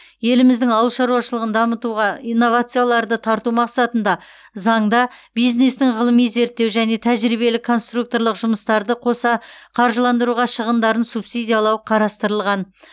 еліміздің ауыл шаруашылығын дамытуға инновацияларды тарту мақсатында заңда бизнестің ғылыми зерттеу және тәжірибелік конструкторлық жұмыстарды қоса қаржыландыруға шығындарын субсидиялау қарастырылған